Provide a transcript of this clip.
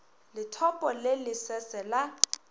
lethopo le le sese la